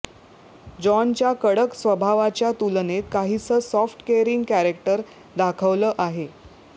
जॉनच्या कडक स्वभावाच्या तुलनेत काहीसं सॉफ्ट केअरिंग कॅरॅक्टर दाखवलं आहे